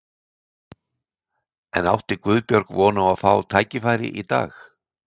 En átti Guðbjörg von á að fá tækifæri í dag?